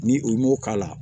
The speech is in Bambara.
Ni u m'o k'a la